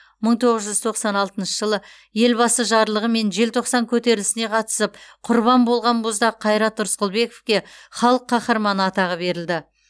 мың тоғыз жүз тоқсан алтыншы жылы елбасы жарлығымен желтоқсан көтерілісіне қатысып құрбан болған боздақ қайрат рысқұлбековке халық қаһарманы атағы берілді